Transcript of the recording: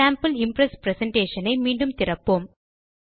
மாதிரி Impress presentation ஐ மீண்டும் திறப்போம்